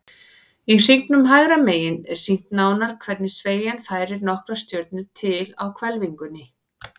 Í hringnum hægra megin er sýnt nánar hvernig sveigjan færir nokkrar stjörnur til á hvelfingunni.